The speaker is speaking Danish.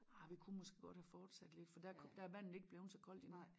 Arh vi kunne måske godt have fortsat lidt for der kunne der er vandet ikke bleven så koldt endnu